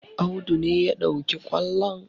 Audu ne ya ɗauki ƙwallon